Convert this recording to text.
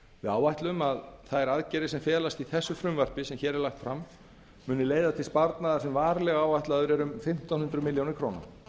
áætlað er að þær aðgerðir sem felast í þessu frumvarpi munu leiða til sparnaðar sem varlega áætlaður er um fimmtán hundruð milljónir króna